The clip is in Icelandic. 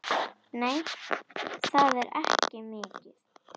Nei, það er ekki mikið.